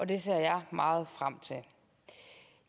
det ser jeg meget frem til